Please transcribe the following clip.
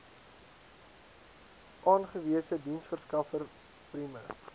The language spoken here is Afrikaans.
aangewese diensverskaffer prime